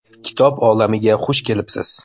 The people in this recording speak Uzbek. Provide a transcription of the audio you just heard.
Kitob olamiga xush kelibsiz!